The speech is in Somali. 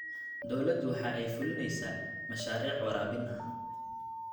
Dawladdu waxa ay fulinaysaa mashaariic waraabin ah.